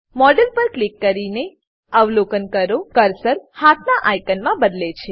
model પર click કરીને અવલોકન કરો કર્સર હાથનાં આઇકોનમાં બદલે છે